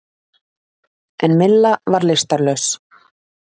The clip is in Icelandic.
En Milla var lystarlaus.